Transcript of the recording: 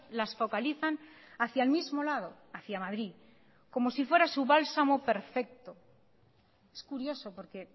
las focalizan hacia el mismo lado hacia madrid como si fuera su bálsamo perfecto es curioso porque